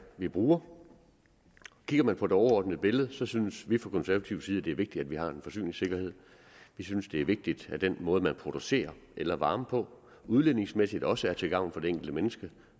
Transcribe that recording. vi bruger kigger man på det overordnede billede så synes vi fra konservativ side at det er vigtigt at vi har en forsyningssikkerhed vi synes det er vigtigt at den måde man producerer el og varme på udledningsmæssigt også er til gavn for det enkelte menneske